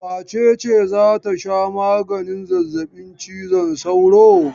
Wace ce za ta sha maganin zazzabin cizon sauro?